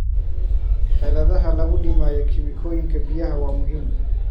Xeeladaha lagu dhimayo kiimikooyinka biyaha waa muhiim.